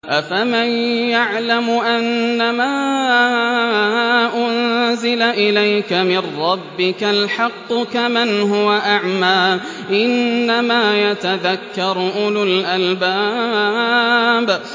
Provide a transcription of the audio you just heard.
۞ أَفَمَن يَعْلَمُ أَنَّمَا أُنزِلَ إِلَيْكَ مِن رَّبِّكَ الْحَقُّ كَمَنْ هُوَ أَعْمَىٰ ۚ إِنَّمَا يَتَذَكَّرُ أُولُو الْأَلْبَابِ